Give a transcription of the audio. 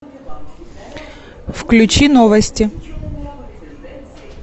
включи новости